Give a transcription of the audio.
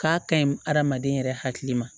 K'a kaɲi hadamaden yɛrɛ hakili ma